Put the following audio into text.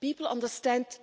People